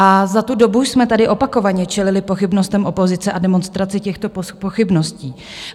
A za tu dobu jsme tady opakovaně čelili pochybnostem opozice a demonstraci těchto pochybností.